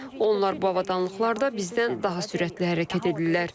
Onlar bu avadanlıqlarda bizdən daha sürətli hərəkət edirlər.